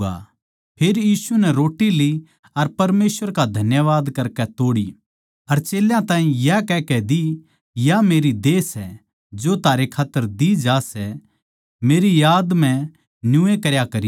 फेर यीशु नै रोट्टी ली अर परमेसवर का धन्यवाद करकै तोड़ी अर चेल्यां ताहीं या कहकै दी या मेरी देह सै जो थारै खात्तर दी जा सै मेरी याद म्ह न्यूए करया करो